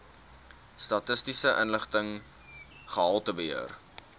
statistiese inligting gehaltebeheer